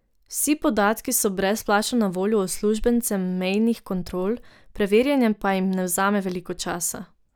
Vsi podatki so brezplačno na voljo uslužbencem mejnih kontrol, preverjanje pa jim ne vzame veliko časa.